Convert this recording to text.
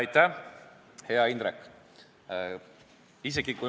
Aitäh, hea Indrek!